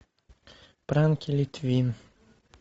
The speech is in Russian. пранки литвин